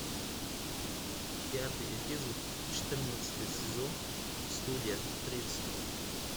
пятый эпизод четырнадцатый сезон студия тридцать